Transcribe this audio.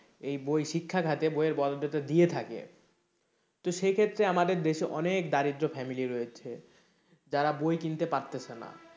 এই বই শিক্ষাখাতে বইয়ের দিয়ে থাকে তো সেই ক্ষেত্রে আমাদের দেশে অনেক দারিদ্র family রয়েছে যারা বই কিনতে পারতাছে না।